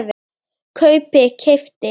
kaupi- keypti